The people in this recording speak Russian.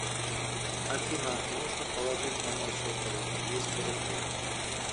афина нужно положить на мой сотовый двести рублей